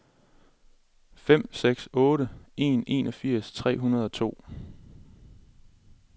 fem seks otte en enogfirs tre hundrede og to